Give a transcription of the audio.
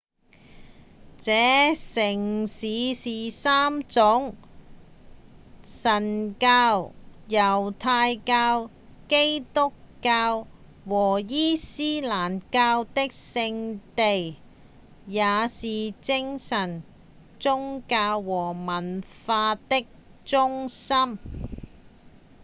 該城市是三種一神教──猶太教、基督教和伊斯蘭教的聖地也是精神、宗教和文化的中心